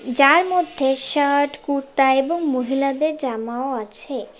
যার মধ্যে শার্ট কুর্তা এবং মহিলাদের জামাও আছে।